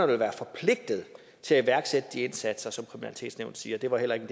vil være forpligtet til at iværksætte de indsatser som kriminalitetsnævnet siger det var heller ikke